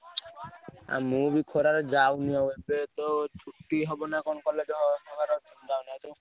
ଆଉ ମୁଁ ବି ଖରା ରେ ଯାଉନି ଆଉ ଏବେ ତ ଛୁଟି ହବ ନାଁ କଣ college ହବାର ଅଛି